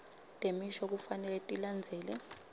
temisho kufanele tilandzele